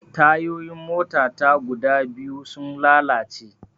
Tayoyin mota ta guda biyu sun lalace